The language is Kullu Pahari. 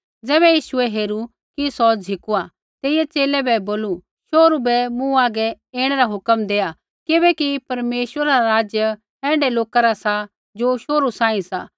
ज़ैबै यीशुऐ हेरू कि सौ झ़िकुआ तेइयै च़ेले बै बोलू शोहरू बै मूँ हागै ऐणै रा हुक्म देआ किबैकि परमेश्वरा रा राज्य ऐण्ढै लोका रा सा ज़ो शोहरू सांही सी